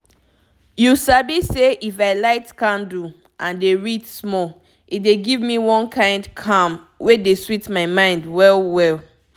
you sabi say if i light candle and dey read small e dey give me one kind calm wey dey sweet my mind well well.